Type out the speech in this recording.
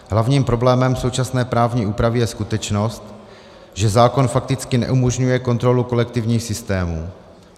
Hlavním problémem současné právní úpravy je skutečnost, že zákon fakticky neumožňuje kontrolu kolektivních systémů.